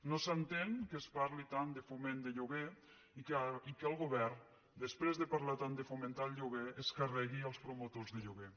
no s’entén que es parli tant de foment de lloguer i que el govern després de parlar tant de fomentar el lloguer es carregui els promotors de lloguer